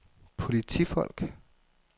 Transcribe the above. politifolk